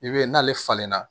I b'a ye n'ale falenlenna